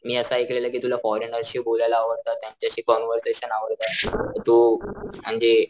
मी अस ऐकलेल कि तुला फॉरेनरशी बोलायला आवडत त्यांच्याशी कॉन्व्हरशेन आवडत तू म्हणजे,